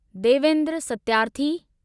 Devendra Satyarthi